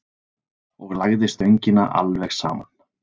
Og lagði stöngina alveg saman.